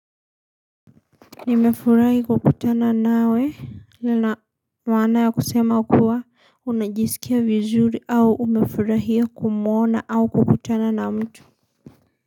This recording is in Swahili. Nimefurahi kukutana nawe lina maana ya kusema kuwa unajisikia vizuri au umefurahia kumuona au kukutana na mtu.